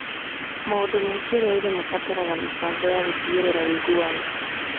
Maũndũ ma kĩrũrĩrĩ marabatara mĩbango ya gũtigĩrĩra ũigananu.